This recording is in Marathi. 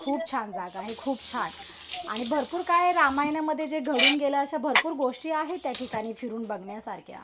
खूप छान जागा आहे. खूप छान. आणि भरपूर काय रामायणामध्ये जे घडून गेलं अशा भरपूर गोष्टी आहेत त्याठिकाणी फिरून बघण्यासारख्या